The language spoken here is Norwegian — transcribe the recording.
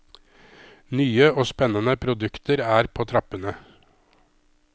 Nye og spennende produkter er på trappene.